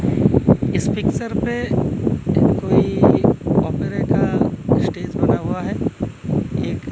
इस पिक्चर पे कोई ऑपरेटर स्टेज बना हुआ है एक--